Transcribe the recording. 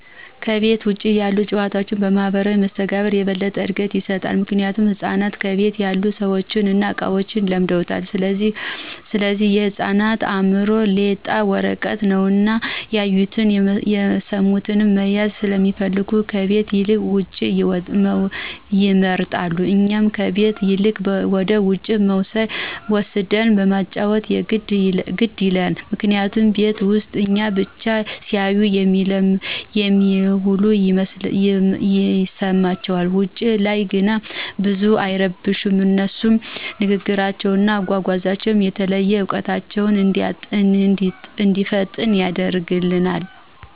ከቤት ውጭ ያሉት ጭዋታዎች ማህበራዊ መስተጋብር የበለጠ እድገት ይሰጣል። ምክንያቱም ህፃናቶች ከቤት ያሉትን ሰዎችን እና እቃዎችን ለምደውታል ስለዚህ የህፃናት አእምሮ ሌጣ ወረቀት ነው እና ያዩቱን፣ የስሙትን መያዝ ሰለሚፈልጉ ከቤት ይልቅ ውጭውን ይመርጣሉ። እኛም ከቤት ይልቅ ወደውጭ መውሰድን ማጫዎት ግድ ይላል ምክንያቱም ቤት ውስጥ እኛን ብቻ ሲያዩ ስለሚውሉ ይስለቹናል። ውጭ ላይ ግን ብዙም አይረብሹም አነሱም ንግግራቸው፣ አጓጓዛቸው፣ የተለያዩ እውቀታቸው እንዲፋጠን ያደርግልናል።